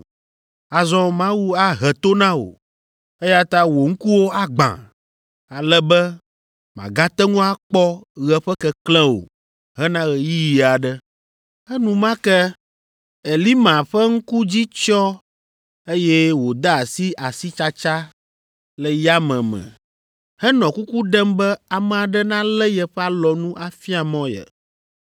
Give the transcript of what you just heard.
Azɔ Mawu ahe to na wò, eya ta wò ŋkuwo agbã, ale be màgate ŋu akpɔ ɣe ƒe keklẽ o hena ɣeyiɣi aɖe.” Enumake Elima ƒe ŋku dzi tsyɔ̃ eye wòde asi asitsatsa le yame me henɔ kuku ɖem be ame aɖe nalé yeƒe alɔnu afia mɔ ye.